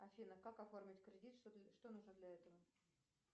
афина как оформить кредит что нужно для этого